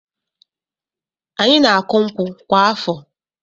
Anyị na-akụ nkwụ kwa afọ.